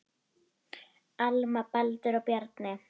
Alma, Baldur og Bjarni.